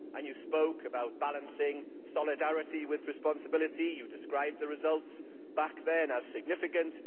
They spoke about balancing solidarity with responsibility and described the results back then as significant'.